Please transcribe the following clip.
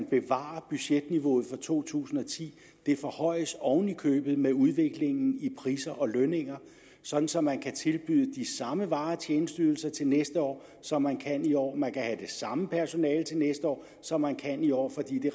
bevare budgetniveauet for to tusind og ti det forhøjes oven i købet med udviklingen i priser og lønninger sådan så man kan tilbyde de samme varer og tjenesteydelser til næste år som man kan i år man kan have det samme personale til næste år som man kan i år fordi